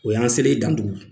O y' an selen ye dandugu